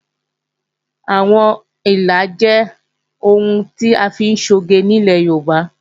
Àwọn ìlà jẹ́ ohun tí à ń fi ṣe oge nílẹ̀ Yorùbá